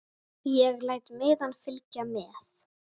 Ég læt miðann fylgja með.